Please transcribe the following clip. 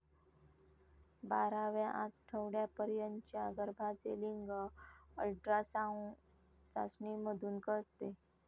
बाराव्या आठवड्यापर्यंतच्या गर्भाचे लिंग अल्ट्रासाऊंग चाचणीमधून कळते.